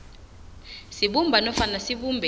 sibumba nofana sibumbe